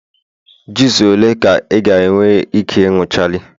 juice ole ka ị ga-ewere Ike ịnuchala?